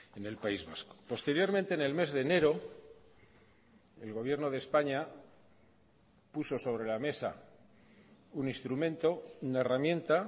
en el país vasco posteriormente en el mes de enero el gobierno de españa puso sobre la mesa un instrumento una herramienta